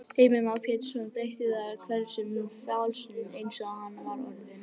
Heimir Már Pétursson: Breytir það einhverju um feril málsins eins og hann var orðinn?